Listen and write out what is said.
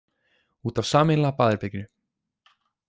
Út af sameiginlega baðherberginu.